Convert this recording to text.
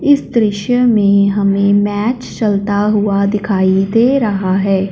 इस दृश्य में हमें मैच चलता हुआ दिखाइ दे रहा है।